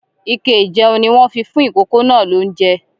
Ike ijẹun ní wọn fí fún ikòkò náà l'ounjẹ.